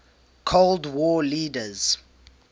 cold war leaders